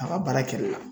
A ka baara kɛli la